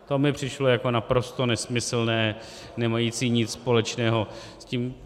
To mi přišlo jako naprosto nesmyslné, nemající nic společného s tím...